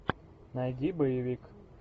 найди боевик